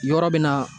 Yɔrɔ bɛ na